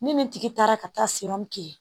Ni nin tigi taara ka taa kɛ